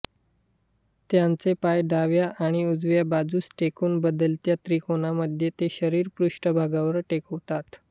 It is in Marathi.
त्यांचे पाय डाव्या आणि उजव्या बाजूस टेकून बदलत्या त्रिकोनामध्ये ते शरीर पृष्ठभागावर टेकवतात